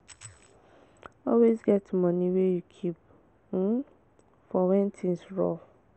always get moni wey you keep um for when things rough